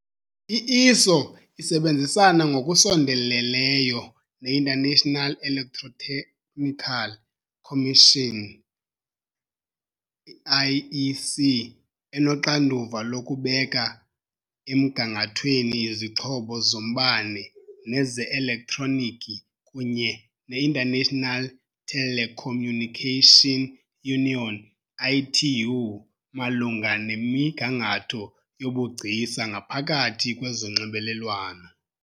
I-ISO isebenzisana ngokusondeleyo ne- International Electrotechnical Commission IEC, enoxanduva lokubeka emgangathweni izixhobo zombane neze-elektroniki, kunye ne-International Telecommunication Union, ITU, malunga nemigangatho yobugcisa ngaphakathi kwezonxibelelwano .